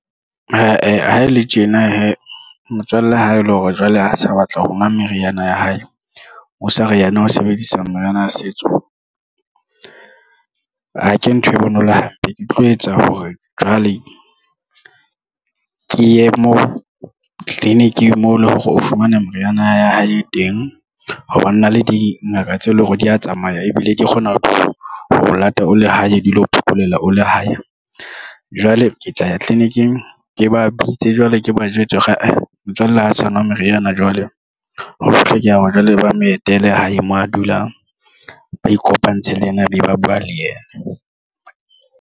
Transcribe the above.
Ha ele tjena hee motswalle ha ele hore jwale a sa batla ho nka meriana ya hae o sa re yena o sebedisa meriana ya setso. Okay, ntho e bonolo hampe, ke tlo etsa hore jwale ke ye moo tleliniking moo le hore o fumana meriana ya hae e teng. Ho ba na le dingaka tse leng hore di ya tsamaya ebile ke kgona ho lata o le hae di lo phekola o le hae jwale ke tla ya tleliniking ke ba bitse jwale ke ba jwetse ka motswalle ha sa ho nwa meriana. Jwale ho hlokeha hore jwale ba mo etele hae mo a dulang ba ikopantshe le yena be ba buwa le yena.